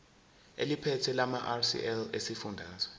eliphethe lamarcl esifundazwe